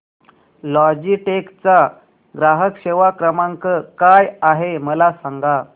Logitech चा ग्राहक सेवा क्रमांक काय आहे मला सांगा